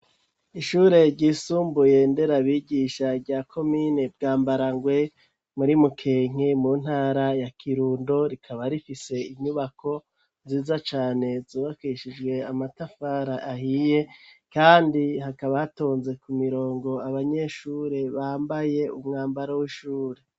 Ishure ryisumbuye ndera bigisha rya komine bwambarangwe ,muri mukenke mu ntara ya kirundo ,rikaba rifise inyubako ziza cane, zubakishijwe amatafara ahiye, kandi hakaba hatonze ku mirongo abanyeshure bambaye umwambaro w'ishure.